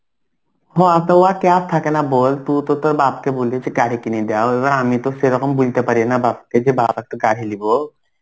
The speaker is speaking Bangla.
হ তো কে আর থাকে না বল তুই তো তোর বাপকে বলেছি গাড়ি কিনে দাও এবার আমি তো সেরকম বলতে পারি না বাপকে যে বাপ একটু গাড়ি লিবো.